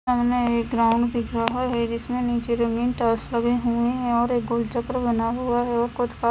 सामने एक ग्राउंड दिख रहा है जिसमे निचे जमीन टाइल्स लगे हुए है और एक गोल चक्र बना हुआ है और कुछ--